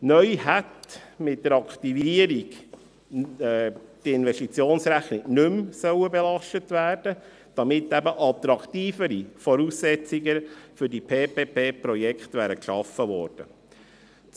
Neu hätte die Investitionsrechnung mit der Aktivierung nicht mehr belastet werden sollen, damit eben attraktivere Voraussetzungen für diese PPP-Projekte geschaffen worden wären.